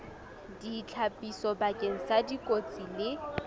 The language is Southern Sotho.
ditlhapiso bakeng sa dikotsi le